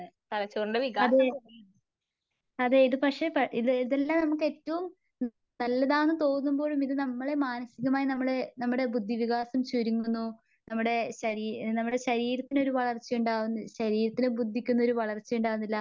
അതെ അതെ ഇതു പക്ഷെ ഇത് ഇതെല്ലം നമുക്ക് ഏറ്റവും നല്ലതാണ് തോന്നുമ്പോഴും ഇത് നമ്മളെ മാനസീകമായി നമ്മളെ ബുദ്ധിവികാസം ചുരുങ്ങുന്നു. നമ്മുടെ ശരീരത്തിനൊരു വളർച്ച ഉണ്ടാവു ശരീരത്തിനും ബുദ്ധതിക്കും ഒരു വളർച്ച ഉണ്ടാവുന്നില്ല.